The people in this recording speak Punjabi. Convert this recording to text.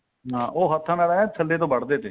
ਹਾਂ ਉਹ ਹੱਥਾਂ ਨਾਲ ਐਨ ਥੱਲੇ ਤੋਂ ਵੱਡ ਦੇ ਤੇ